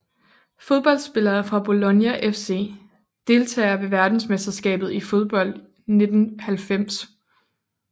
Fodboldspillere fra Bologna FC Deltagere ved verdensmesterskabet i fodbold 1990